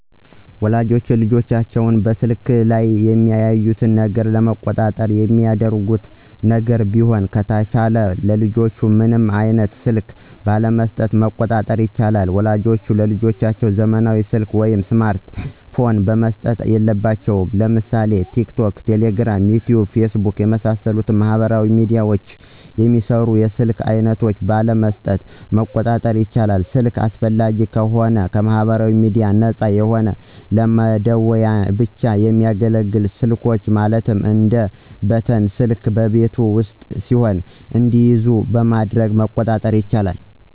ወላጆች ልጆቻቸውን በስልኩ ላይ የሚያዩትን ነገር ለመቆጣጠር የሚያደርጉት ነገር ቢሆን ከተቻለም ለልጆቻቸው ምንም አይነት ስልክ ባለመሥጠት መቆጣጠር ይቻላል። ወላጆች ለልጆቻቸው ዘመናዊ ሰልክ ወይም ስማርት ፖን መስጠት የለባቸውም። ለምሳሌ ቲክቶክ፣ ቴሌግራም፣ ዩቲዩብ፣ ፌስቡክ የመሣሠሉትን ማህበራዊ ሚድያዎችን የሚሰሩ የስልክ አይነቶች ባለመስጠት መቆጣጠር ይቻላል። ስልክ አስፈላጊ ከሆነም ከማህበራዊ ሚድያዎች ነፃ የሆነ ለመደዋወያ ብቻ የሚያገለግሉ ስልኮች ማለትም እንደ በተን ስልክ በቤት ውስጥ ሲሆኑ እንዲይዙ በማድረግ መቆጣጠር ይቻላል።